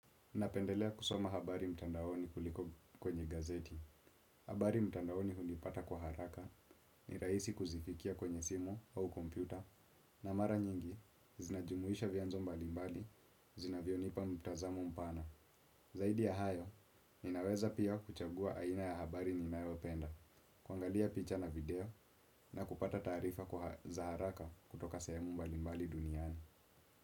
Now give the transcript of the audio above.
Napendelea kusoma habari mtandaoni kuliko kwenye gazeti. Habari mtandaoni hunipata kwa haraka ni raisi kuzifikia kwenye simu au kompyuta. Na mara nyingi, zinajumuisha vianzo mbalimbali, zina vyonipa mtazamo mpana. Zaidi ya hayo, ninaweza pia kuchagua aina ya habari ninayo penda. Kuangalia picha na video na kupata taarifa kwa za haraka kutoka sehemu mbalimbali duniani.